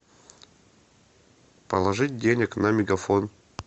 положить денег на мегафон